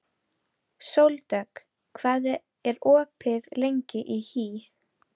Sóldögg, hvað er opið lengi í HÍ?